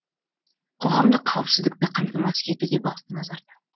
қоғамдық қауіпсіздікті қамтамасыз ету де басты назарда